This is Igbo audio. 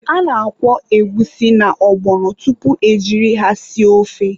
A na-akwọ egwusi na ọgbọnọ tupu e jiri ha sie ofe.